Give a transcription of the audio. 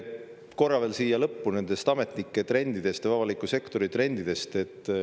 Korra veel siia lõppu nendest ametnike trendidest või avaliku sektori trendidest.